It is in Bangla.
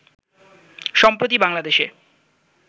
সম্প্রতি বাংলাদেশে